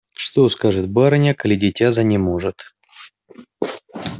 что скажет барыня коли дитя занеможет